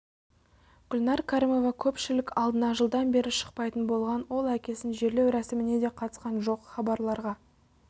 гүлнәр кәрімова көпшілік алдына жылдан бері шықпайтын болған ол әкесінің жерлеу рәсіміне де қатысқан жоқ хабарларға